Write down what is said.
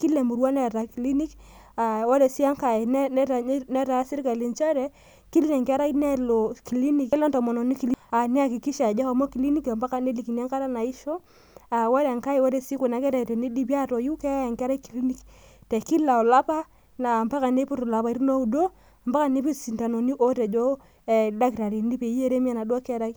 kila emurua neeta kilinik , ore sii engae naa kila enkerai nelo kilinik ,neyakikisha entomononi ajo ehomo kilinik ampaka kenya enkata naisho , naa ore pee idipi atoyu naa keyai enkera kilinik kila olapa ompaka niput ilaipaitin oudo , ompaka nidip isintanoni ootejo oldakitari .